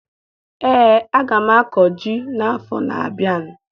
Ee, aga m akọ ji n'afọ na-abịa